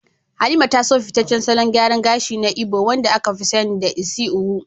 Halima ta so fitaccen salon gyaran gashi na Igbo wanda aka fi sani da "Isi Owu,"